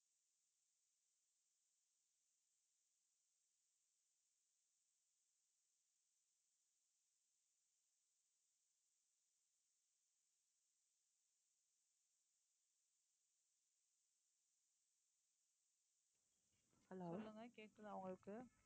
சொல்லுங்க கேக்குதா உங்களுக்கு